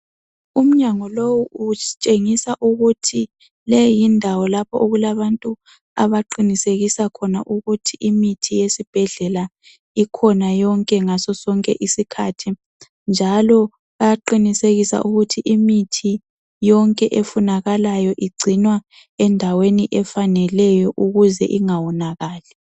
Umnyango lowu utshengisa ukuthi le yindawo lapho okulabantu abaqinisekisa khona ukuthi imithi yesibhedlela ikhona yonke ngaso sonke isikhathi njalo baqinisekisa ukuthi imithi yonke efunakalayo igcinwa endaweni efaneleyo ukuze ingawonakali.